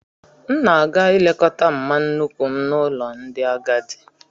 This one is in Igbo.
M na-aga ileta mma nnuku m n'ụlọ ndị agadi